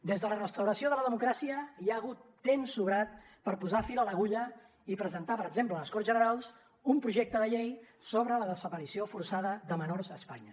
des de la restauració de la democràcia hi ha hagut temps sobrat per posar fil a l’agulla i presentar per exemple a les corts generals un projecte de llei sobre la desaparició forçada de menors a espanya